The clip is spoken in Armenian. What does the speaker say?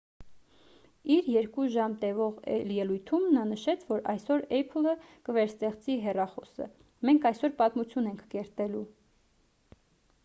իր 2 ժամ տևող ելույթում նա նշեց որ «այսօր apple-ը կվերստեղծի հեռախոսը. մենք այսօր պատմություն ենք կերտելու»։